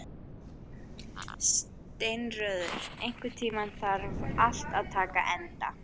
Steinröður, einhvern tímann þarf allt að taka enda.